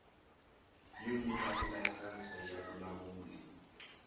yo nyika tilayisense ya vulawuli